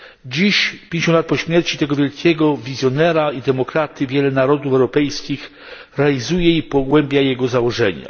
Dziś, 50 lat po śmierci tego wielkiego wizjonera i demokraty, wiele narodów europejskich realizuje i pogłębia jego założenia.